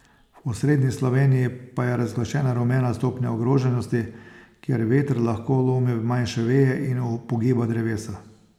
V osrednji Sloveniji pa je razglašena rumena stopnja ogroženosti, kjer veter lahko lomi manjše veje in upogiba drevesa.